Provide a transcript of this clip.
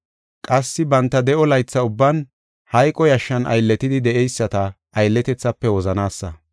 Qassi banta de7o laytha ubban hayqo yashshan aylletidi de7eyisata aylletethaafe wozanaasa.